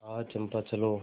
आह चंपा चलो